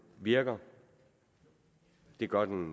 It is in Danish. virker det gør den